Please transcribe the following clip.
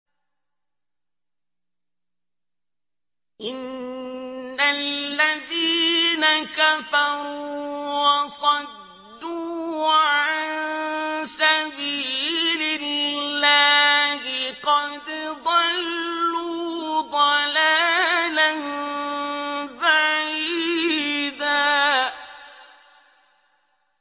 إِنَّ الَّذِينَ كَفَرُوا وَصَدُّوا عَن سَبِيلِ اللَّهِ قَدْ ضَلُّوا ضَلَالًا بَعِيدًا